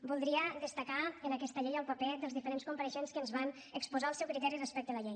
voldria destacar en aquesta llei el paper dels diferents compareixents que ens van exposar el seu criteri respecte a la llei